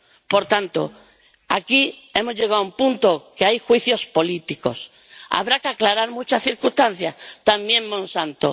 Por tanto, aquí hemos llegado a un punto en el que hay juicios políticos. Habrá que aclarar muchas circunstancias, también Monsanto.